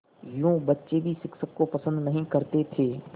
यूँ बच्चे भी शिक्षक को पसंद नहीं करते थे